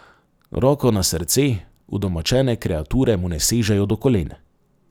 Roko na srce, udomačene kreature mu ne sežejo do kolen.